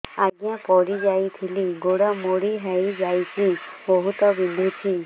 ଆଜ୍ଞା ପଡିଯାଇଥିଲି ଗୋଡ଼ ମୋଡ଼ି ହାଇଯାଇଛି ବହୁତ ବିନ୍ଧୁଛି